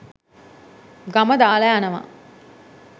ගම දාලා යනවා.